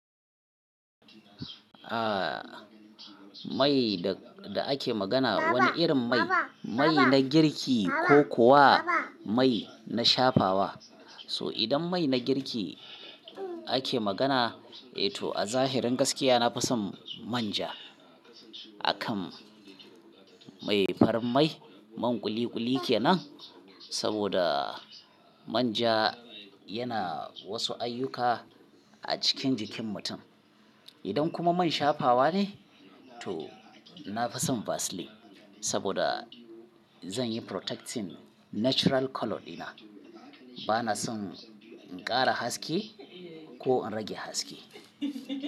Aaa, mai da ake magana wani irin mai, mai na girki ko kuwa mai na shafawa. So idan mai na girki ake magana, eh to a zahirin gaskiya na fison manja. Akan mai farar mai man ƙuli ƙuli kenan. Saboda manja yana wasu ayyuka a cikin jikin mutum. Idan kuma man shafawa ne to na fison vasline saboda zan yi protecting natural colour dina. Bana son in ƙara haske ko in rage haske.